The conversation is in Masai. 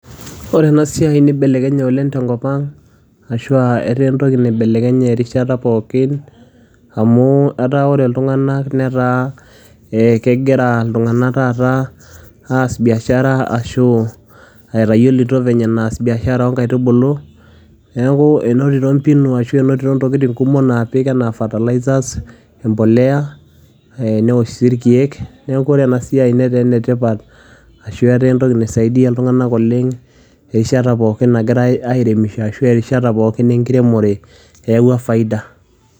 Ore ena siai nibelekenye oleng tenkop ang ashua etaa entoki naibelekenye erishata pookin amu etaa ore iltung'anak netaa eh kegira iltung'anak taata aas biashara ashu etayioloito venye enaas biashara onkaitubulu neeku enotito mpinu ashu enotito intokitin kumok naapik enaa fertilizers empoleya e newosh sii irkeek neku ore ena siai netaa enetipat ashu etaa entoki naisaidia iltung'anak oleng erishat pookin nagirae ae airemisho ashu erishat pookin enkiremore eyawua faida.